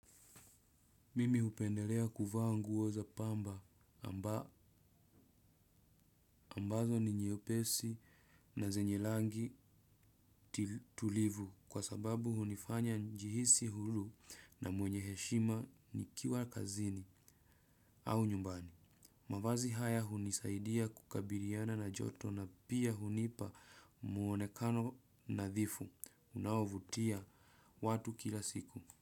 Mimi hupendelea kuvaa nguo za pamba. Ambazo ni nyepesi na zenye rangi tulivu kwa sababu hunifanya njihisi huru, na mwenye heshima nikiwa kazini au nyumbani. Mavazi haya hunisaidia kukabiliana na joto na pia hunipa muonekano nadhifu. Unaovutia watu kila siku.